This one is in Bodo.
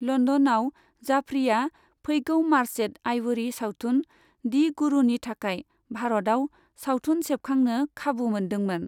लन्दनआव जाफरीआ फैगौ मार्चेंट आइवरी सावथुन, दि गुरुनि थाखाय भारताव सावथुन सेबखांनो खाबु मोनदोंमोन।